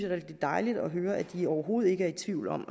rigtig dejligt at høre at de overhovedet ikke er i tvivl om